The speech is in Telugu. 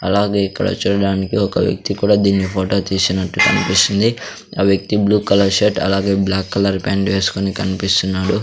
అలాగే ఇక్కడ చూడడానికి ఒక వ్యక్తి కూడా దీనిని ఫోటో తీసినట్టు కనిపిస్తుంది ఆ వ్యక్తి బ్లూ కలర్ షర్ట్ అలాగే బ్లాక్ కలర్ ప్యాంట్ వేసుకొని కన్పిస్తున్నాడు .